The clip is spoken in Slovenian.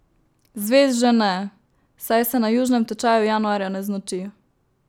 Zvezd že ne, saj se na južnem tečaju januarja ne znoči.